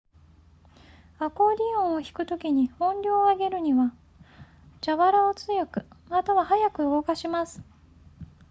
アコーディオンを弾くときに音量を上げるには蛇腹を強くまたは速く動かします